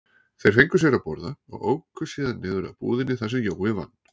Þeir fengu sér að borða og óku síðan niður að búðinni þar sem Jói vann.